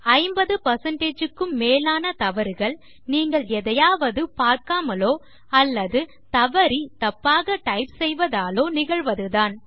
50 க்கும் மேலான தவறுகள் நீங்கள் எதையாவது பார்க்காமலோ அல்லது தவறி தப்பாக டைப் செய்வதாலோ நிகழ்வதுதான்